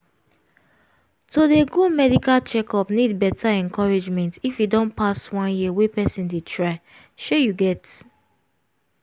to dey go medical checkup need better encouragement if e don pass one year wey person dey try shey you get